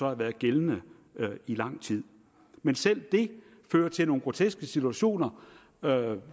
har været gældende i lang tid men selv det fører til nogle groteske situationer